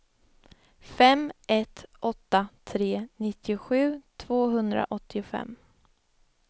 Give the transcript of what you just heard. fem ett åtta tre nittiosju tvåhundraåttiofem